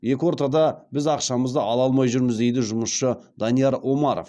екі ортада біз ақшамызды ала алмай жүрміз дейді жұмысшы данияр омаров